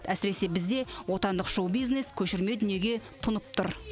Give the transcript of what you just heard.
әсіресе бізде отандық шоу бизнес көшірме дүниеге тұнып тұр